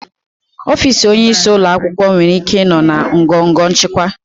Ọfịs onyeisi ụlọ akwụkwọ nwere ike ịnọ na ngọngọ nchịkwa.